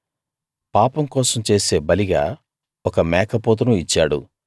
పాపం కోసం చేసే బలిగా ఒక మేకపోతును ఇచ్చాడు